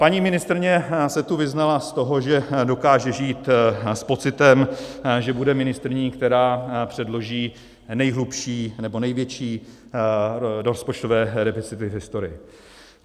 Paní ministryně se tu vyznala z toho, že dokáže žít s pocitem, že bude ministryní, která předloží nejhlubší nebo největší rozpočtové deficity v historii.